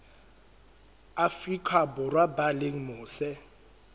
afrika borwa ba leng mose